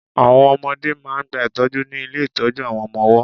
Àwọn ọmọdẹ́ máà ń gba ìtọ́jú ní ilé ìtọ́jú àwọn ọmọ ọwọ́.